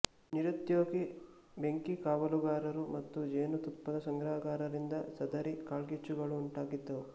ನಿರುದ್ಯೋಗಿ ಬೆಂಕಿಕಾವಲುಗಾರರು ಮತ್ತು ಜೇನುತುಪ್ಪದ ಸಂಗ್ರಾಹಕರಿಂದ ಸದರಿ ಕಾಳ್ಗಿಚ್ಚುಗಳು ಉಂಟಾಗಿದ್ದವು